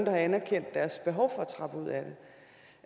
har anerkendt deres behov for